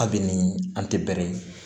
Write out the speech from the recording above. Abini an tɛ bɛrɛ ye